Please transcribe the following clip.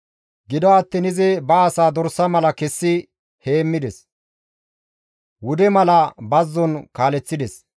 Gido attiin izi ba asaa dorsa mala kessi heemmides; wude mala bazzon kaaleththides.